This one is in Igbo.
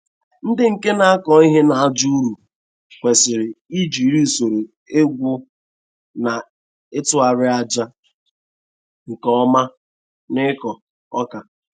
Ndi nke na-akọ ihe n'aja ụrọ kwesịrị ijiri usoro igwu na ịtụghari aja nke oma n'ịkọ ọka.